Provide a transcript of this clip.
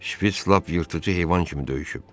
Şpiç lap yırtıcı heyvan kimi döyüşüb.